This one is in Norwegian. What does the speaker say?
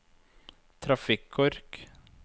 trafikkork